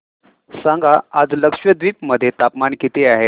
सांगा आज लक्षद्वीप मध्ये तापमान किती आहे